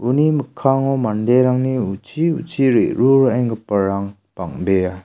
uni mikkango manderangni uchi uchi re·ruraenggiparang bang·bea.